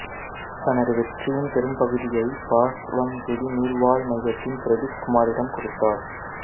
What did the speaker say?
தனது வெற்றியின் பெரும்பகுதியை பாஸ்வங்குடி நீர்வாழ் மையத்தின் பிரதீப் குமாரிடம் கொடுத்தார்